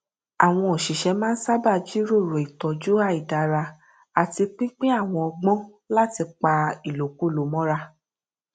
àwọn òṣìṣẹ máa n sábà jíròrò ìtọjú àìdára àti pínpín àwọn ọgbọn láti pa ìlòkulò mọra